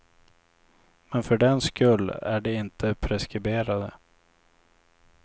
Men för den skull är de inte preskriberade.